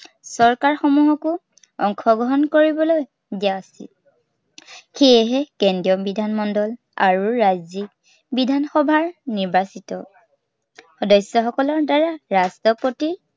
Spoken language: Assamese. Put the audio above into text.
চৰকাৰ সমূহকো অংশগ্ৰহণ কৰিবলৈ দিয়া উচিত। সেয়েহে, কেন্দ্ৰীয় বিধান মণ্ডল আৰু ৰাজ্য়িক বিধান সভাৰ নিৰ্বাচিত, সদস্য়সকলৰ দ্বাৰা ৰাষ্ট্ৰপতিৰ